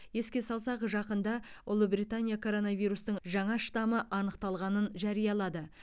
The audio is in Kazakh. еске салсақ жақында ұлыбритания коронавирустың жаңа штамы анықталғанын жарияланды